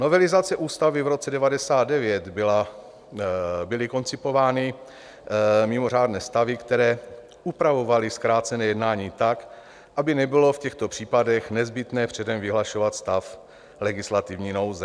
Novelizací ústavy v roce 1999 byly koncipovány mimořádné stavy, které upravovaly zkrácené jednání tak, aby nebylo v těchto případech nezbytné předem vyhlašovat stav legislativní nouze.